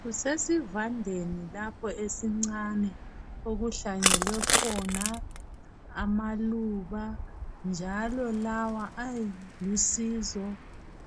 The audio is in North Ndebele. Kusesivandeni lapho esincane okuhlanyelwe khona amaluba . Njalo lawa alusizo